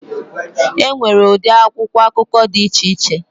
Enwere ụdị akwụkwọ akụkọ dị iche iche